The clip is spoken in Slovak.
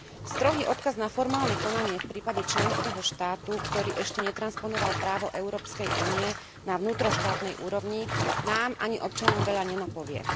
Strohý odkaz na formálne konanie v prípade členského štátu, ktorý ešte netransponoval právo Európskej únie na vnútroštátnej úrovni, nám ani občanom veľa nenapovie.